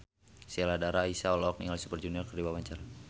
Sheila Dara Aisha olohok ningali Super Junior keur diwawancara